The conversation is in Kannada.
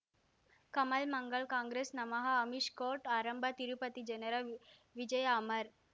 ಕಮಲ್ ಮಂಗಳ್ ಕಾಂಗ್ರೆಸ್ ನಮಃ ಅಮಿಷ್ ಕೋರ್ಟ್ ಆರಂಭ ತಿರುಪತಿ ಜನರ ವ್ ವಿಜಯ ಅಮರ್